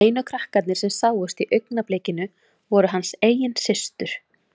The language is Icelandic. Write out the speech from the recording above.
Einu krakkarnir sem sáust í augnablikinu voru hans eigin systur.